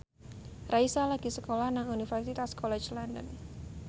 Raisa lagi sekolah nang Universitas College London